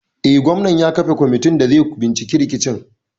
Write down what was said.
Eh, gwamnan ya kafa kwamitin da zai binciki rikicin.